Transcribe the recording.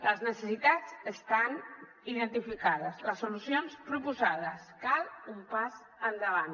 les necessitats estan identificades les solucions proposades cal un pas endavant